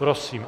Prosím.